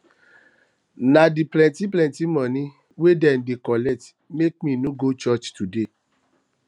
na di plenty plenty moni wey dem dey collect make me no go church today